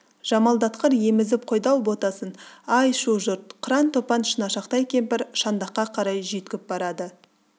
жамалдатқыр емізіп қойды-ау ботасын ай шу жұрт қыран-топан шынашақтай кемпір шаңдаққа қарай жүйткіп барады